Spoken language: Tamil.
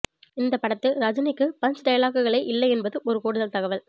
இந்த படத்தில் ரஜினிக்கு பஞ்ச் டயலாகுகளே இல்லை என்பதும் ஒரு கூடுதல் தகவல்